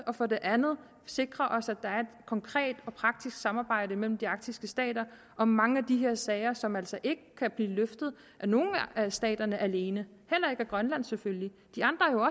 og for det andet sikrer os at der er et konkret og praktisk samarbejde mellem de arktiske stater og mange af de her sager som altså ikke kan blive løftet af nogen af staterne alene heller ikke af grønland selvfølgelig de andre er